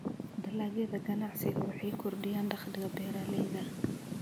Dalagyada ganacsigu waxay kordhiyaan dakhliga beeralayda.